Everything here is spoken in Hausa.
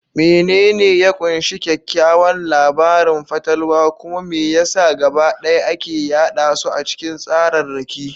Menene ya ƙunshi kyakkyawan labarin fatalwa, kuma me ya sa gabaɗaya ake yada su ta cikin tsararraki?